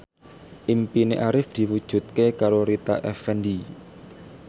impine Arif diwujudke karo Rita Effendy